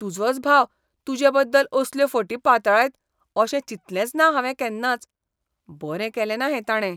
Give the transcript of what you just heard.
तुजोच भाव तुजेबद्दल असल्यो फटी पातळायत अशें चिंतलेंच ना हावें केन्नाच. बरें केलेंना हें ताणें.